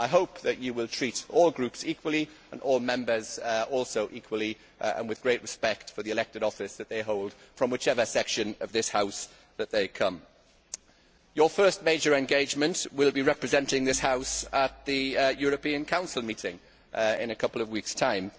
I hope that you will treat all groups equally, and all Members equally and with great respect for the elected office that they hold, whatever the section of this House that they come from. Your first major engagement will be representing this House at the European Council meeting in a couple of weeks' time.